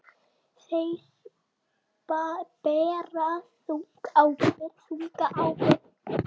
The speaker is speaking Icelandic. Þeir bera þunga ábyrgð.